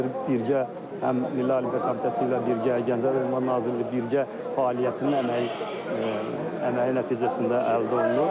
Birgə həm Milli Olimpiya Komitəsi ilə birgə, Gənclər və İdman Nazirliyi birgə fəaliyyətinin əməyi əməyi nəticəsində əldə olunub.